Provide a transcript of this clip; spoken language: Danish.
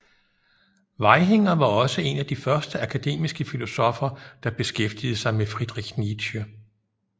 Vaihinger var også en af de første akademiske filosoffer der beskæftigede sig med Friedrich Nietzsche